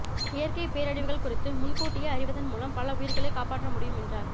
இயற்கை பேரழிவுகள் குறித்து முன் கூட்டியே அறிவதன் மூலம் பல உயிர்களை காப்பாற்ற முடியும் என்றார்